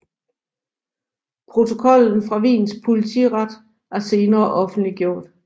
Protokollen fra Wiens politiret er senere offentliggjort